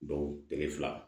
Don tile fila